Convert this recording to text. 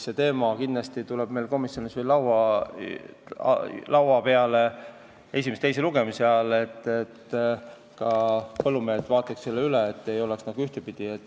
See teema tuleb kindlasti komisjonis esimese ja teise lugemise vahel veel laua peale, et ka põllumehed selle üle vaataksid.